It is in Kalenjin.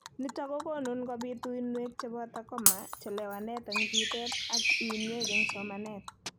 Nitok kokokun kobit uinwek cheboto coma, chelewanet eng' bitet ak uinwek eng' somanet